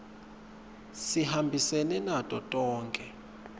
sihambisene nato tonkhe